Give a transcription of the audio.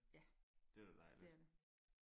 Ja. Det er det